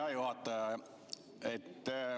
Hea juhataja!